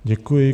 Děkuji.